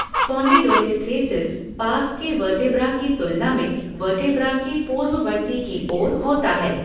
Spondylolisthesis पास के vertebra की तुलना में वर्टेब्रा के पूर्ववर्ती की ओर होता है।